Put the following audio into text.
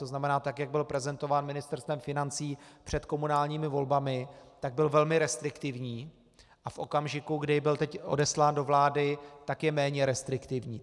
To znamená, tak jak byl prezentován Ministerstvem financí před komunálními volbami, tak byl velmi restriktivní a v okamžiku, kdy byl teď odeslán do vlády, tak je méně restriktivní.